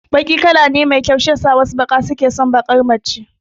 Baki kala ne mai kyau shiyasa wasu maza suke son baƙar mace